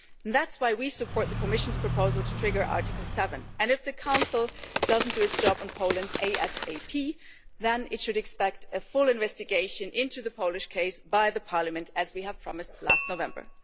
That is why we support the Commission's proposal to trigger Article 7, and if the Council does not do its job on Poland asap then it should expect a full investigation into the Polish case by Parliament, as we promised last November.